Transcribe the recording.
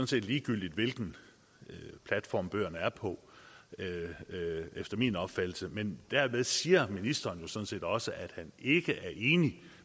set ligegyldigt hvilken platform bøgerne er på efter min opfattelse men derved siger ministeren sådan set også at han ikke er enig